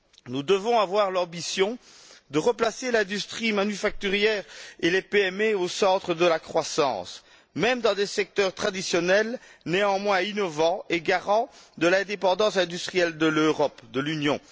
Nous devons avoir l'ambition de replacer l'industrie manufacturière et les PME au centre de la croissance, même dans des secteurs traditionnels, néanmoins innovants et garants de l'indépendance industrielle de l'Europe, de l'Union.